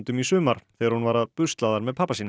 í sumar þegar hún var að busla þar með pabba sínum